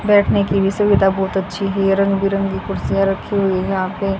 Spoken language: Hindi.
बैठने की भी सुविधा बहोत अच्छी रंग बिरंगी कुर्सियां रखी हुई है यहां पे--